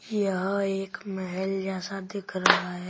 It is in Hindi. यहां एक महेल जैसा दिख रहा है।